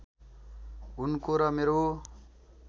उनको र मेरो